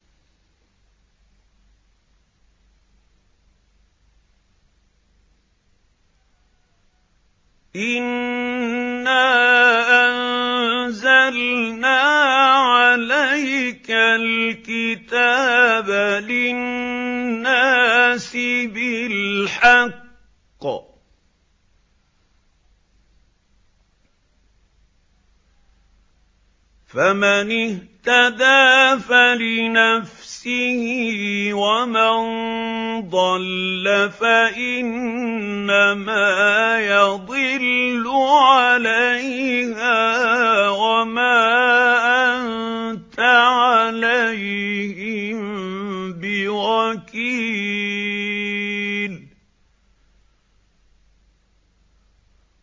إِنَّا أَنزَلْنَا عَلَيْكَ الْكِتَابَ لِلنَّاسِ بِالْحَقِّ ۖ فَمَنِ اهْتَدَىٰ فَلِنَفْسِهِ ۖ وَمَن ضَلَّ فَإِنَّمَا يَضِلُّ عَلَيْهَا ۖ وَمَا أَنتَ عَلَيْهِم بِوَكِيلٍ